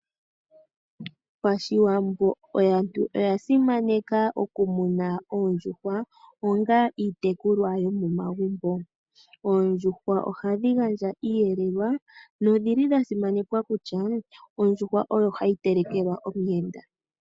Pashiwambo aantu oya simaneka okumuna oondjuhwa onga iitekulwa yomomagumbo. Oondjuhwa ohadhi gandja iiyelelwa nodha simanekwa kutya ondjuhwa oyo hayi telekelwa omuyenda.